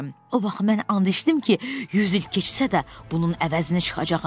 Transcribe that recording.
O vaxt mən and içdim ki, 100 il keçsə də bunun əvəzini çıxacağam.